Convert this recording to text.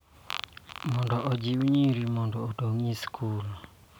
Mondo ojiw nyiri mondo odong� e skul.